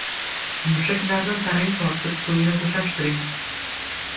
Mushaklarni tarang tortib, so‘ngra bo‘shashtiring.